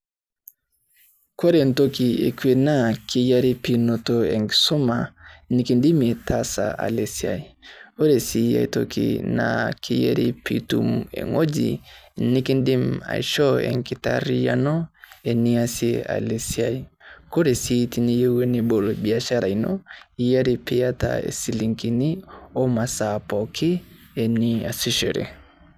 Kore entoki ekue naa keyiare pee inoto enkisuma nikidimie taasa ale siai. Ore sii aitoki Na kiyiare pee itum ewueji nikidim aishoo enkitaariyiano eniasie ale siai. Ore sii teniyeu nibol biashara ino keyiare pee iyata ishilingini o masaa pookin niasishore.